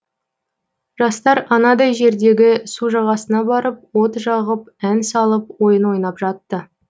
жастар анадай жердегі су жағасына барып от жағып ән салып ойын ойнап жатты